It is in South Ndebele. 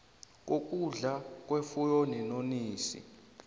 kokudla kwefuyo neenonisi